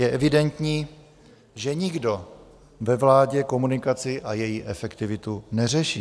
Je evidentní, že nikdo ve vládě komunikaci a její efektivitu neřeší.